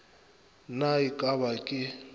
na e ka ba ke